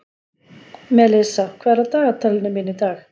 Melissa, hvað er í dagatalinu mínu í dag?